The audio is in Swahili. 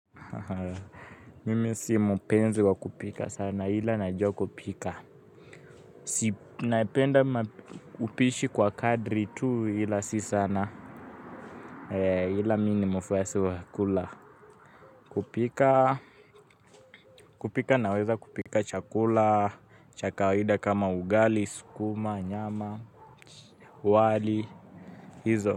Mimi si mpenzi kwa kupika sana ila najua kupika si napenda upishi kwa kadri tu ila si sana ila mini mfuasi wakula kupika naweza kupika chakula, chakawida kama ugali, skuma, nyama, wali, hizo.